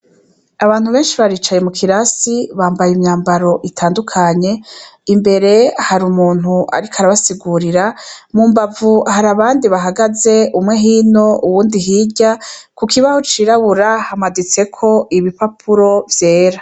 Abantu beshi baricaye mu kirasi bambaye imyambaro itandukanye imbere hari umuntu ariko arabasigurira mu mbavu hari abandi bahagaze umwe hino uwundi hirya ku kibaho cirabura hamaditseko ibi papuro vyera.